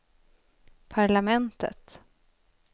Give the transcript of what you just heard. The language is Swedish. parlamentet